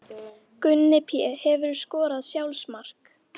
Gunni Pé Hefurðu skorað sjálfsmark?